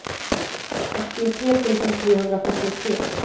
åttiotre tusen trehundrafyrtiotre